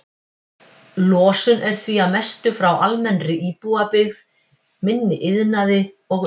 Losun er því að mestu frá almennri íbúabyggð, minni iðnaði og umferð.